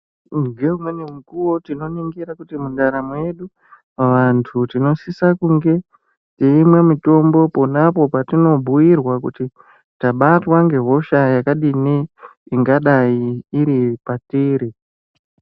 Ngeumweni mukuwo tinoningira kuti mundaramo yedu vantu tinosisa kunge teimwe mitombo ponapo petinobhuirwa kuti tabatwa ngehosha yakadini ingadai iri patiri.